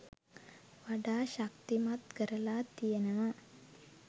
වඩා ශක්තිමත් කරලා තියෙනවා